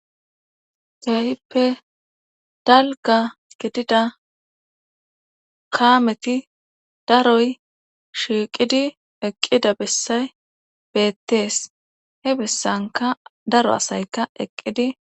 Dayippe dalga gidida kaameti daroy shiiqidi eqqida bessay beettees hebessanka daro asayka eqqidi.